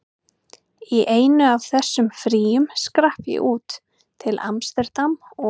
Í einu af þessum fríum skrapp ég út, til amsterdam og